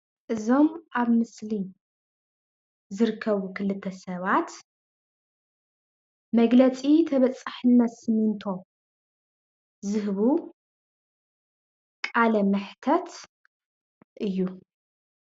እዞም ኣብ ምስሊ ዝርከቡ ክልተ ሰባት መግለፂ ተበፃሕነት ስሚንቶ ዝህቡ ቃለ መሕተት እዩ።